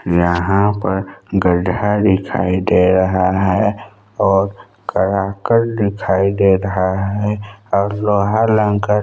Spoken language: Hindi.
यहाँ पर गड्ढा दिखाई दे रहा है और करा कर दिखाई दे रहा है और लोहा लंकर--